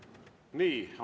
Nii.